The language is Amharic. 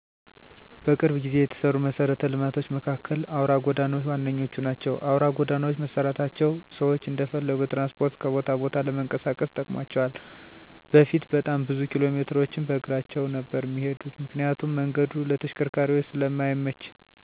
በቅርብ ጊዜ የተሰሩ መሰረተ ልማቶች መካከል አውራ ጎዳናዎች ዋነኞቹ ናቸው። አውራ ጎዳናዎች መሰራታቸው ሰዎች እንደፈለጉ በትራንስፖርት ከቦታ ቦታ ለመንቀሳቀስ ጠቅሟቸዋል በፊት በጣም ብዙ ኪሎሜትሮችን በእግራቸው ነበር እሚሄዱት ምክንያቱም መንገዱ ለተሽከርካሪዎች ስለማይመች፤ ሌላኛው ጥቅሙ ደግሙ ደግሞ አደጋዎች ቀንሰዋል እነዚህ አውራ ጎዳናዎች ከመሰራታቸው በፊት በጣም ብዙ ሰዎች በመኪና አደጋ ይሞቱ እና አካል ጉዳተኛ ይሆኑ ነበር አሁን ግን ይህ አደጋም ቀንሷል። በጣም ብዙ መሻሻል እሚያስፈልጋቸው ነገሮች አሉ ከነሱም መካከል ኤርፖርቶች፣ ጥራታቸውን የጠበቁ ትምህርት ቤቶች፣ ሆስፒታሎች እና አውራ ጎዳናዎች።